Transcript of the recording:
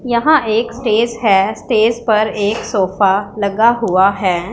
यहां एक स्टेज है स्टेज पर एक सोफा लगा हुआ हैं।